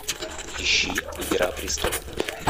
ищи игра престолов